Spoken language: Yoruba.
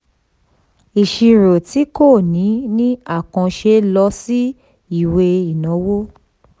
ìṣirò tí kò ní ní àkànṣe lọ sí ìwé ìnáwó.